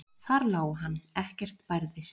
Þar lá hann, ekkert bærðist.